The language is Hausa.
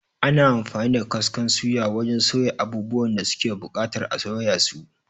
Ana amfani da kaskon suya wajan soya abubuwan da suke buƙatar a soya su